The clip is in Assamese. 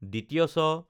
ছ